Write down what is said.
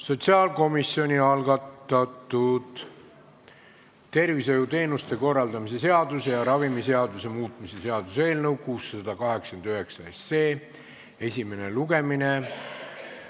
Sotsiaalkomisjoni algatatud tervishoiuteenuste korraldamise seaduse ja ravimiseaduse muutmise seaduse eelnõu esimene lugemine.